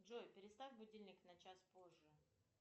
джой переставь будильник на час позже